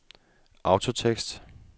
autotekst